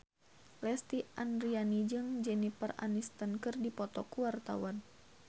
Lesti Andryani jeung Jennifer Aniston keur dipoto ku wartawan